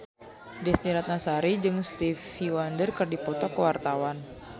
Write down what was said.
Desy Ratnasari jeung Stevie Wonder keur dipoto ku wartawan